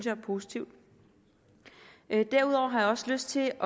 er positivt derudover har jeg også lyst til